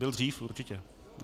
Byl dřív, určitě .